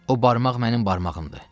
O barmaq mənim barmağımdır.